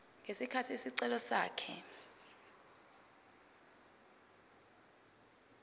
ngesikhathi isicelo sakhe